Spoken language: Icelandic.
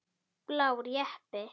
Blár jeppi.